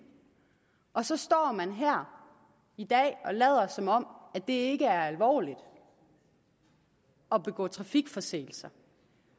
og så står man her i dag og lader som om det ikke er alvorligt at begå trafikforseelser